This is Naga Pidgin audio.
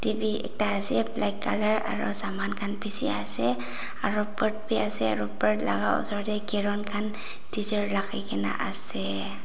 v ekta ase black colour aro saman khan bishi ase aro bird b ase aro bird la ka esor tey caron khan deser raki kena ase.